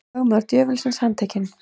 Lögmaður djöfulsins handtekinn